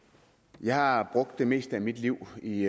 jeg har brugt det meste af mit liv i